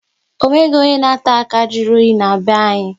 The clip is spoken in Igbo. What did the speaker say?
Ọ nweghị onye na-ata akara jụrụ oyi na-be anyị